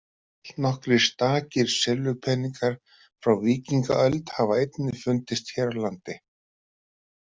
Allnokkrir stakir silfurpeningar frá víkingaöld hafa einnig fundist hér á landi.